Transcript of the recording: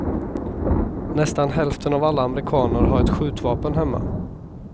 Nästan hälften av alla amerikaner har ett skjutvapen hemma.